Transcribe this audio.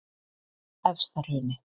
Efstahrauni